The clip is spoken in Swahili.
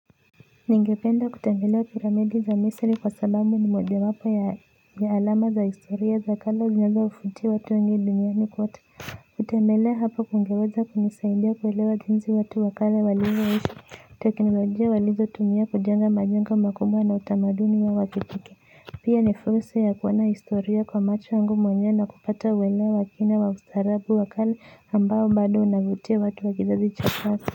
Ningependa kutembelea piramidi za misri kwa sababu ni moja wapo ya alama za historia za kale zinzowavutia watu wengi duniani kote kutembelea hapo kungeweza kunisaidia kuelewa jinsi watu wa kale walivyoishi, teknolojia walizo tumia kujenga majengo makubwa na utamaduni wa wakitike. Pia ni fursa ya kuona historia kwa macho yangu mwenyewe na kupata uwelewa wa kina wa ustaarabu wa kale ambao bado unavutia watu wa kizazi cha sasa.